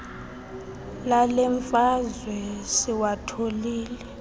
lale mfazwe siwathobile